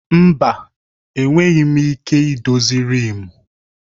Mba! Enweghị m ike idozi riimu.